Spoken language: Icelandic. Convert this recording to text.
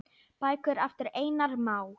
Bækur eftir Einar Má.